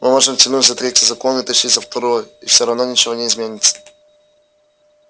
мы можем тянуть за третий закон и тащить за второй и всё равно ничего не изменится